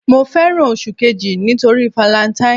Mo fẹ́ràn oṣù kejì nítorí valentine.